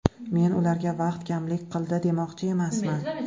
Men ularga vaqt kamlik qildi demoqchi emasman.